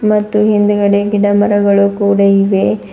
ಮತ್ತು ಹಿಂದ್ಗಡೆ ಗಿಡ ಮರಗಳು ಕೂಡ ಇವೆ.